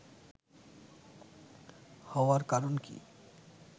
হওয়ার কারণ কি